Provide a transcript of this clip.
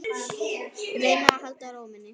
Reyna að halda ró minni.